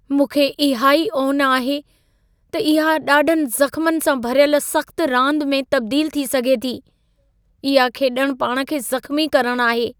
मूंखे इहा ई ओन आहे त इहा ॾाढनि ज़ख्मनि सां भरियल सख़्त रांद में तबदील थी सघे थी। इहा खेॾणु पाण खे ज़ख़्मी करणु आहे।